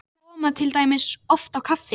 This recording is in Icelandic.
Þeir koma til dæmis oft á kaffi